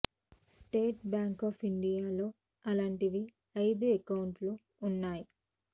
state Bank of India లో అలాంటివి ఐదు అకౌంట్లు ఉన్నాయి